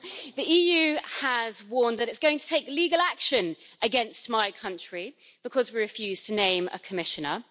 The EU has warned that it's going to take legal action against my country because we refused to name a Commissioner.